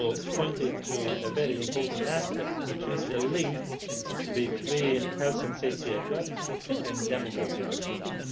pointed to a very important aspect, which is the link between health and safety at work and demographic change.